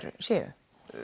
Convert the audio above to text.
séu